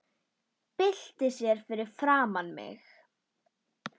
Byltir sér fyrir framan mig.